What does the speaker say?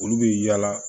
Olu bɛ yaala